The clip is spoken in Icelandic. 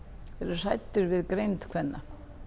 hræddir við greind kvenna